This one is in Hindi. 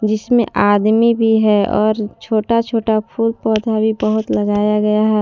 इसमे आदमी भी है और छोटा छोटा फूल पौधा भी बहोत लगाया गया है।